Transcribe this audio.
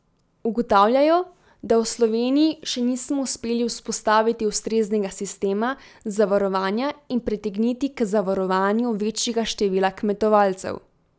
Ugotavljajo, da v Sloveniji še nismo uspeli vzpostaviti ustreznega sistema zavarovanja in pritegniti k zavarovanju večjega števila kmetovalcev.